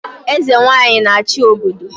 Eze Nwanyị a-achị obodo